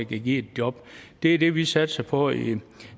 kan give et job det er det vi satser på i